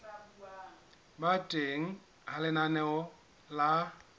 ba teng ha lenaneo la